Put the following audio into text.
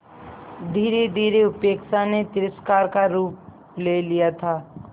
धीरेधीरे उपेक्षा ने तिरस्कार का रूप ले लिया था